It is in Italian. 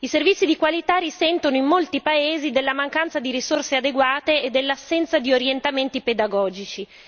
I servizi di qualità risentono in molti paesi della mancanza di risorse adeguate e dell'assenza di orientamenti pedagogici.